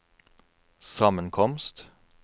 sammenkomst